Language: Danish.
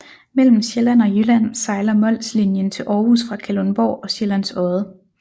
Mellem Sjælland og Jylland sejler Molslnjen til Aarhus fra Kalundborg og Sjællands Odde